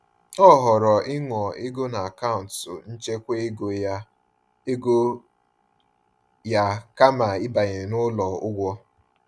Ọ họọrọ ịṅụọ ego n’akaụntụ nchekwa ego ya ego ya kama ibanye n’ụlọ ụgwọ.